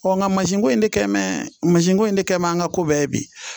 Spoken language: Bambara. nka masinko in de kɛmɛn mansinko in de kɛ bɛ an ka ko bɛɛ bi